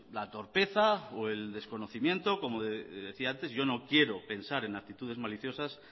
la torpeza o el desconocimiento como decía antes yo no quiero pensar en actitudes maliciosas